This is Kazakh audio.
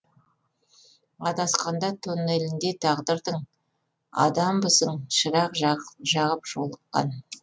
адасқанда тоннелінде тағдырдың адамбысың шырақ жағып жолыққан